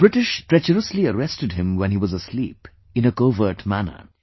The British tree treacherously arrested him when he was asleep, in a covert manner